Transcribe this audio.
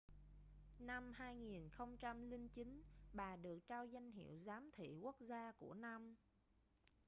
năm 2009 bà được trao danh hiệu giám thị quốc gia của năm